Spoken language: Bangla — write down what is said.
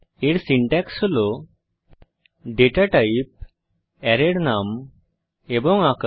এর সিনট্যাক্স হল ডেটা টাইপ অ্যারের নাম এবং আকার